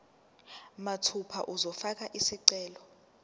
mathupha uzofaka isicelo